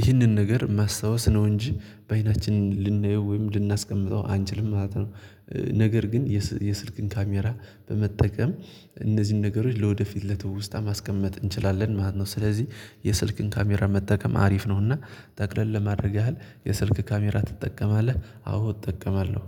ይህንን ነገር ማስታወስ ነው እንጂ በአይናችን ልናየው ወይም ልናስቀምጠው አንችልም ማለት ነው። ነገር ግን የስልክን ካሜራ በመጠቀም እነዚህን ነገሮች ለወደፊት ለትውስታ ማስቀመጥ እንችላለን ማለት ነው። ስለዚህ የስልክን ካሜራ መጠቀም አሪፍ ነው እና ጠቅለል ለማድረግ ያህል የስልክ ካሜራ ትጠቀማለህ አዎ እጠቀማለሁ።